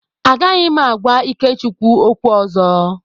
Agaghị m agwa Ikechukwu okwu ọzọ.